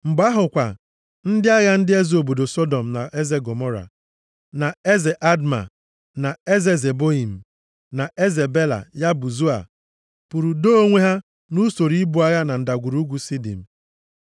Mgbe ahụ kwa, ndị agha ndị eze obodo Sọdọm na eze Gọmọra, na eze Adma, na eze Zeboiim, na eze Bela (ya bụ Zoa) pụrụ doo onwe ha nʼusoro ibu agha na Ndagwurugwu Sidim,